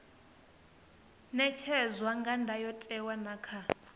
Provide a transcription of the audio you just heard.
ṅetshedzwa kha ndayotewa na kha